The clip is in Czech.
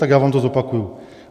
Tak já vám to zopakuju.